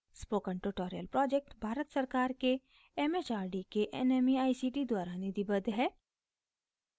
spoken tutorial project Bharat सरकार के एमएचआरडी के nmeict द्वारा निधिबद्ध है